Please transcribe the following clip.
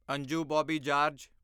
Anju Bobby George